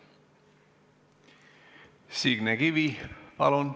Signe Kivi, palun!